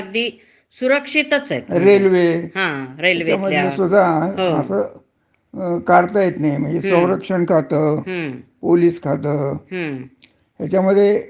तुम्हाला नोकरीवरन काढता येत नाही. हं. आता दुसरे जे क्षेत्र आहेत, हं. तर? खाजगी क्षेत्र, हं.